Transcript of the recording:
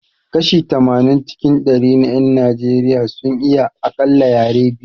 Kashi tamanin cikin dari na 'yan Najeriya sun iya akalla yare biyu